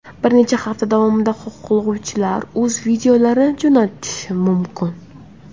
Bir necha hafta davomida xohlovchilar o‘z videolarini jo‘natishi mumkin.